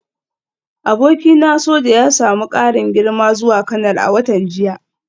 Abokina soja ya samu karin girma zuwa kanal a watan jiya